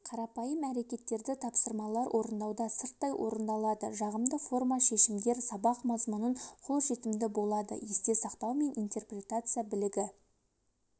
қарапайым әрекеттерді тапсырмалар орындауда сырттай орындалады жағымды форма шешімдер сабақ мазмұнын қолжетімді болады есте сақтау мен интерпретация білігі